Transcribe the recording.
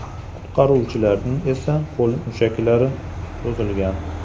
Qutqaruvchining esa qo‘l mushaklari cho‘zilgan.